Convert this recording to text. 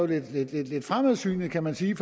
det er lidt fremadsynet kan man sige